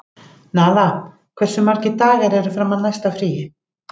Nala, hversu margir dagar fram að næsta fríi?